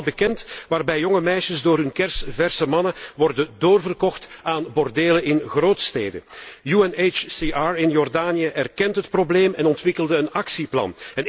Er zijn gevallen bekend waarbij jonge meisjes door hun kersverse mannen worden doorverkocht aan bordelen in grootsteden. UNHCR in Jordanië erkent het probleem en ontwikkelde een actieplan.